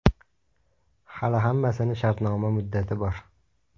Hali hammasini shartnoma muddati bor.